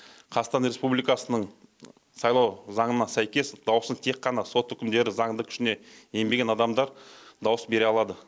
қазақстан республикасының сайлау заңына сәйкес дауысын тек қана сот үкімдері заңды күшіне енбеген адамдар дауыс бере алады